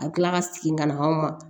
A bɛ tila ka segin ka na anw ma